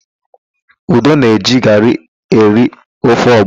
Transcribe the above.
Udo na-eji garị eri ofe ọgbọnọ.